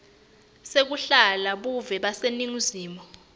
sekulahla buve baseningizimu